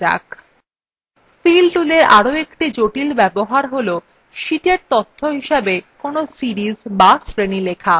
fill toolএর একটি আরো জটিল ব্যবহার tool সীটa তথ্য হিসাবে কোনো series বা শ্রেণী লেখা